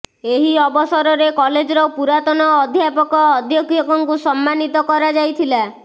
ଏହି ଅବସରରେ କଲେଜର ପୁରାତନ ଅଧ୍ୟାପକ ଅଧ୍ୟକ୍ଷଙ୍କୁ ସମ୍ମାନୀତ କରାଯାଇଥିଲା